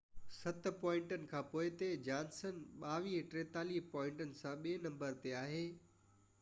ست پوائنٽن کان پوئتي جانسن 2243 پوائنٽن سان ٻي نمبر تي آهي